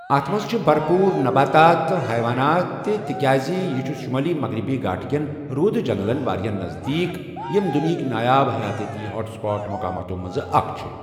اَتھ منٛز چھِ برپوٗر نباتات تہٕ حیوانات تہِ تِکیٛازِ یہِ چھُ شُمٲلی مغربی گھاٹ کٮ۪ن روٗدٕ جنگلَن واریٛاہ نزدیٖک، ییٚمۍ دنیاہٕک نایاب حیاتیٲتی ہاٹ سپاٹ مقاماتَو منٛز اکھ چھِ۔